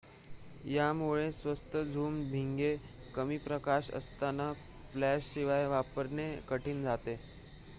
यामुळे स्वस्त झूम भिंगे कमी प्रकाश असताना फ्लॅश शिवाय वापरणे कठीण जाते